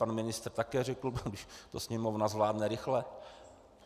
Pan ministr také řekl: když to Sněmovna zvládne rychle.